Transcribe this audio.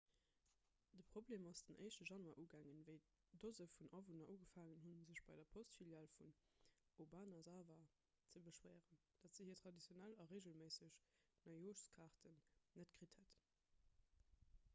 de problem ass den 1 januar ugaang wéi dose vun awunner ugefaangen hunn sech bei der postfilial vun obanazawa ze beschwéieren datt se hir traditionell a reegelméisseg neijooschkaarten net kritt hätten